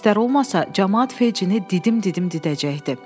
“Polislər olmasa, camaat Fejcini didim-didim didəcəkdi.